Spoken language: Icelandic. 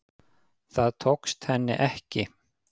Það tókst henni ekki